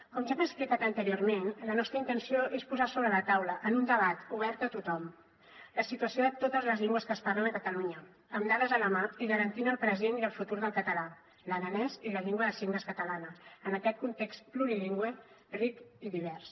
com ja hem explicat anteriorment la nostra intenció és posar sobre la taula en un debat obert a tothom la situació de totes les llengües que es parlen a catalunya amb dades a la mà i garantint el present i el futur del català l’aranès i la llengua de signes catalana en aquest context plurilingüe ric i divers